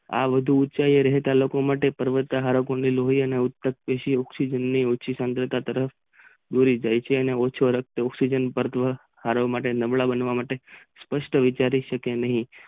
આ વધુ ઉંચાઈ પાર રહેતા પર્વતારોહણ માટે ઓકસીઝન ની સાંદ્ર તરફ દોરી જાય છે અને ઓછો ઓકસીઝન માટે નબળા બનવા માટે સપષ્ટ વિચારી શકાય નહિ.